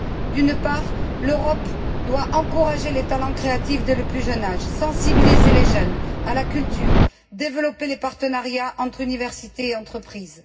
D'une part, l'Europe doit encourager les talents créatifs dès le plus jeune âge, sensibiliser les jeunes à la culture, développer les partenariats entre universités et entreprises.